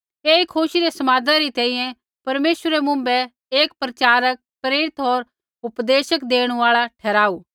ऐई खुशी रै समादा री तैंईंयैं परमेश्वरै मुँभै एक प्रचारक प्रेरित होर उपदेश देणु आल़ा ठहराऊ